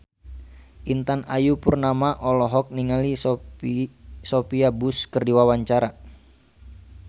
Intan Ayu Purnama olohok ningali Sophia Bush keur diwawancara